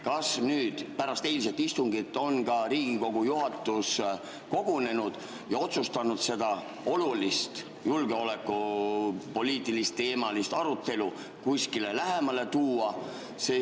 Kas pärast eilset istungit on Riigikogu juhatus kogunenud ja otsustanud seda olulist julgeolekupoliitilist ja -teemalist arutelu kuskile lähemale tuua?